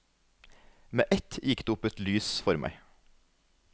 Med ett gikk det et lys opp for meg.